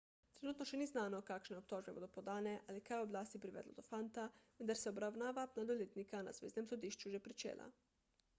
trenutno še ni znano kakšne obtožbe bodo podane ali kaj je oblasti privedlo do fanta vendar se je obravnava mladoletnika na zveznem sodišču že pričela